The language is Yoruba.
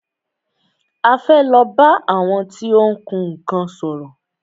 A fẹ́ lọ bá àwọn tí ó ń kun nnkan sòrò.